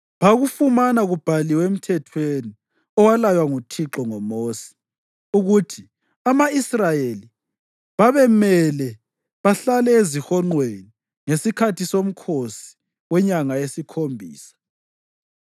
Bakufumana kubhaliwe eMthethweni, owalaywa nguThixo ngoMosi, ukuthi ama-Israyeli babemele bahlale ezihonqweni ngesikhathi somkhosi wenyanga yesikhombisa